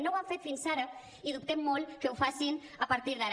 no ho han fet fins ara i dubtem molt que ho facin a partir d’ara